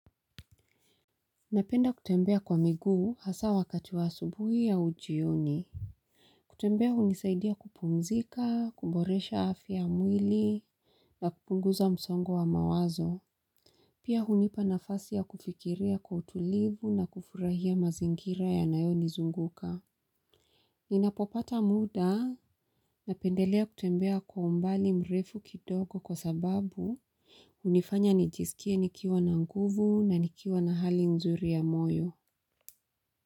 Napenda kutembea kwa miguu hasa wakati wa asubuhi au jioni. Kutembea hunisaidia kupumzika, kuboresha afya ya mwili. Na kupunguza msongo wa mawazo. Pia hunipa nafasi ya kufikiria kwa utulivu na kufurahia mazingira yanayonizunguka. Ninapopata muda napendelea kutembea kwa umbali mrefu kidogo kwa sababu hunifanya nijisikie nikiwa na nguvu na nikiwa na hali nzuri ya moyo.